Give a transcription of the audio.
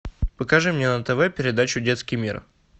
покажи мне на тв передачу детский мир